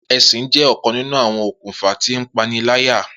Esin jẹ ọkan ninu awọn okunfa ti ipanilaya.